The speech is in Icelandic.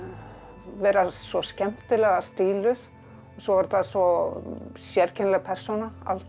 vera svo skemmtilega stíluð svo var þetta svo sérkennileg persóna Alda